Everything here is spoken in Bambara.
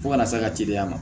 Fo ka n'a ka teliya ma